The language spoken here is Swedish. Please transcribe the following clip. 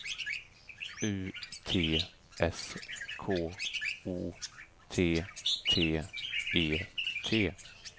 U T S K O T T E T